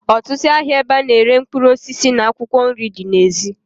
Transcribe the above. Otutu ahia ebe ana ere mkpuruosisi na akwokwo nri di na ezi.